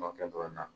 Mɔkɛ dɔ